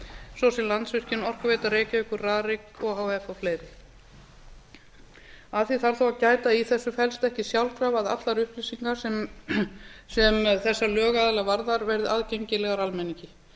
svo sem landsvirkjun orkuveita reykjavíkur rarik o h f og fleiri að því þarf þó að gæta að í þessu felst ekki sjálfkrafa að allar upplýsingar sem þessa lögaðila varðar verði aðgengilegar almenningi